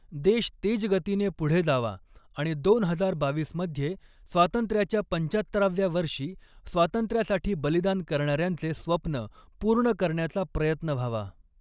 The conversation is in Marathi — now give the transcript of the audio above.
देश तेजगतीने पुढे जावा आणि दोन हजार बावीसमध्ये स्वातंत्र्याच्या पंचाहत्तराव्या वर्षी स्वातंत्र्यासाठी बलिदान करणार्यांचे स्वप्न पूर्ण करण्याचा प्रयत्न व्हावा.